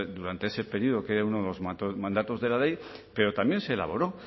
durante ese periodo que era uno de los mandatos de la ley pero también se elaboró